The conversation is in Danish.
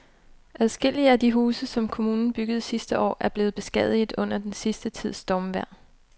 Adskillige af de huse, som kommunen byggede sidste år, er blevet beskadiget under den sidste tids stormvejr.